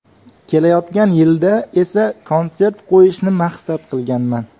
Kelayotgan yilda esa konsert qo‘yishni maqsad qilganman.